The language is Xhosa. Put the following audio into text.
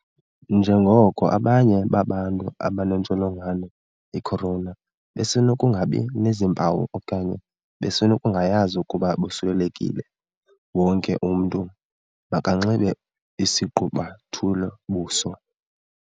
Njengoko abanye babantu abanentsholongwane i-Corona besenokungabi nazimpawu okanye besenokungayazi ukuba bosulelekile, wonke umntu makanxibe isigqubuthelo-buso.